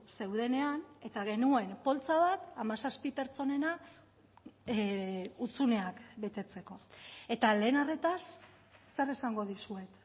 zeudenean eta genuen poltsa bat hamazazpi pertsonena hutsuneak betetzeko eta lehen arretaz zer esango dizuet